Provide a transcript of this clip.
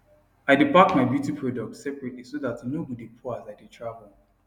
i dae pack my beauty products separately so that e no go dae pour as i dae travel